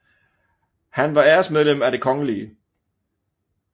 Han var æresmedlem af det kgl